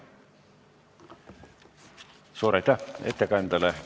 Suur aitäh ettekandjale!